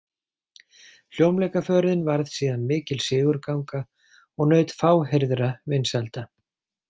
Hljómleikaförin varð síðan mikil sigurganga og naut fáheyrðra vinsælda.